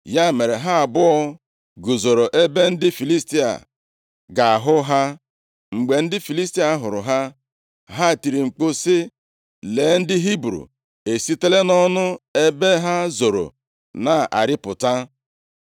Ya mere, ha abụọ guzoro ebe ndị Filistia ga-ahụ ha. Mgbe ndị Filistia hụrụ ha, ha tiri mkpu sị, “Lee, ndị Hibru esitela nʼọnụ + 14:11 \+xt 1Sa 13:6; 14:22\+xt* ebe ha zoro na-arịpụta.”